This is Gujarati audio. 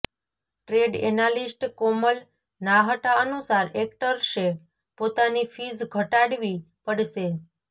ટ્રેડ એનાલિસ્ટ કોમલ નાહટા અનુસાર એક્ટર્સે પોતાની ફીઝ ઘટાડવી પડશે